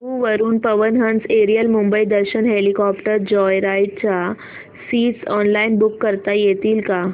जुहू वरून Pawan Hans aerial Mumbai Darshan helicopter joyride च्या seats online book करता येतील का